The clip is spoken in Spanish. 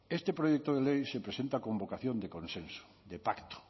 este proyecto de ley se presenta con vocación de consenso de pacto